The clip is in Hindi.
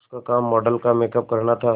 उसका काम मॉडल का मेकअप करना था